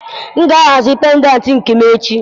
M ga-ahazi pendantị nke m echi.